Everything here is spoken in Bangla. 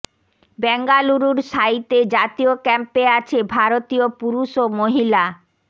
বেঙ্গালুরুর সাইতে জাতীয় ক্যাম্পে আছে ভারতীয় পুরুষ ও মহিলা